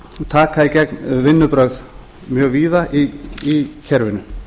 taka í gegn vinnubrögð mjög víða í kerfinu